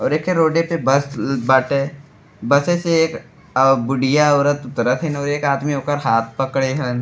और एखे रोडे पे बस ल् बाटे। बसे से एक अ बुढ़िया औरत उतरत हिन और एक आदमी ओकर हाथ पकड़े हन।